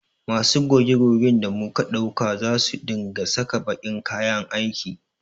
Masu goge gogen da muka ɗauka za su dinga saka baƙin kayan aiki